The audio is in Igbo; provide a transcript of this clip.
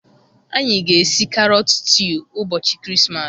Anyị ga-esi karot stew ụbọchị Krismas.